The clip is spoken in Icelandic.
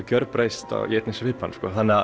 gjörbreyst í einni svipan